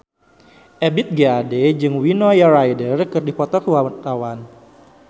Ebith G. Ade jeung Winona Ryder keur dipoto ku wartawan